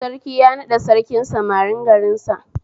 Sarki ya naɗa Sarkin samarin garin sa